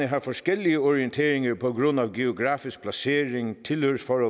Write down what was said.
har forskellige orienteringer på grund af geografisk placering tilhørsforhold